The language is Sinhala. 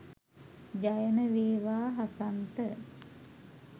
ජයම වේවා හසන්ත